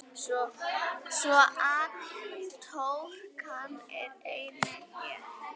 Svo atorkan er einnig hér.